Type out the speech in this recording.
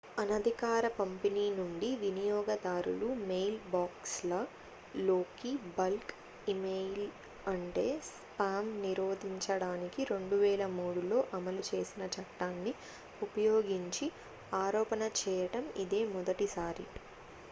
అనధికార పంపిణీ నుండి వినియోగదారుల మెయిల్బాక్స్ల లోకి బల్క్ ఇమెయిల్ అంటే స్పామ్ నిరోధించడానికి 2003లో అమలు చేసిన చట్టాన్ని ఉపయోగించి ఆరోపణ చేయడం ఇదే మొదటిసారి